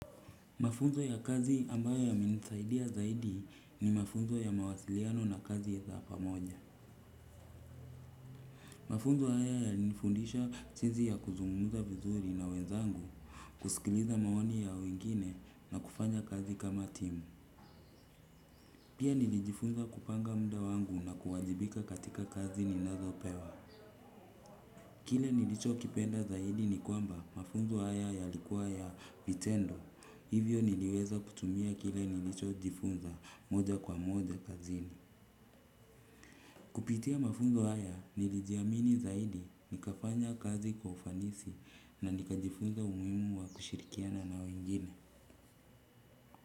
Mafunzo ya kazi ambayo yamenisaidia zaidi ni mafunzo ya mawasiliano na kazi ya pamoja. Mafunzo haya yalinifundisha jinsi ya kuzungumza vizuri na wenzangu, kusikiliza maoni ya wengine na kufanya kazi kama timu. Pia nilijifunza kupanga muda wangu na kuwajibika katika kazi ninazopewa. Kile nilicho kipenda zaidi ni kwamba mafunzo haya yalikuwa ya vitendo. Hivyo niliweza kutumia kile nilicho jifunza moja kwa moja kazini. Kupitia mafunzo haya nilijiamini zaidi nikafanya kazi kwa ufanisi na nikajifunza umuhimu wa kushirikiana na wengine.